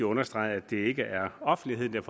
understrege at det ikke er offentligheden